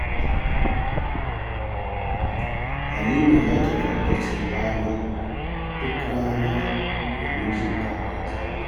Halima za ta tsabtace falon duk rana domin jin daɗin zama.